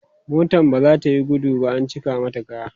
motan baza tayi gudu ba an cika mata kaya